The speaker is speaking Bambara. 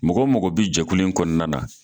Mɔgɔ mɔgɔ bɛ jɛkulu in kɔnɔna na